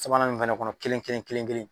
Sabanan nin fana kɔnɔ kelen- kelen- kelen- kelen.